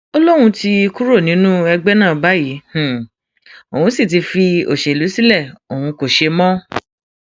ó lóun ti kúrò nínú ẹgbẹ náà báyìí òun sì ti fi òṣèlú sílẹ òun kó ṣe mọ